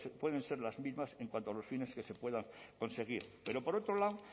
pueden ser las mismas en cuanto a los fines que se puedan conseguir pero por otro lado